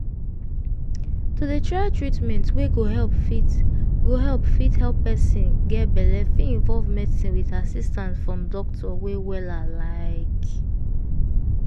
to dey try treatment wey go help fit go help fit help person get belle fit involve medicin with assistance from doctor wey wella like